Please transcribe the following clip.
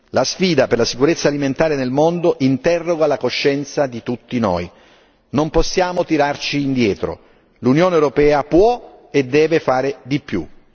La sfida per la sicurezza alimentare nel mondo interroga la coscienza di tutti noi, non possiamo tirarci indietro l'Unione europea può e deve fare di più.